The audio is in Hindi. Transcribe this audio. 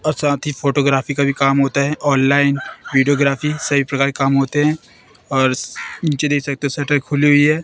और साथ ही फोटोग्राफी का भी काम होता है ऑनलाइन विडियोग्राफी सभी प्रकार के काम होते है और शटर खुली हुई है।